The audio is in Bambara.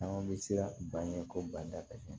Caman bɛ siran ban ɲɛ ko bada ka ca